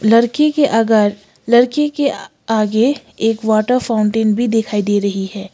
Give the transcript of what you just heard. लड़की के अगर लड़की के आगे एक वाटर फाउंटेन भी दिखाई दे रही है।